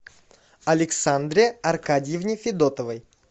александре аркадьевне федотовой